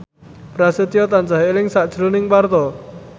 Prasetyo tansah eling sakjroning Parto